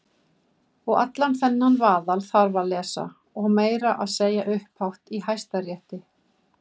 Og allan þennan vaðal þarf að lesa- meira að segja upphátt í Hæstarétti!